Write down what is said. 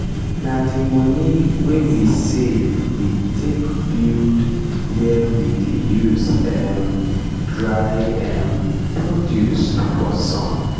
na di moni wey we save we take build where we dey use um dry um produce for sun.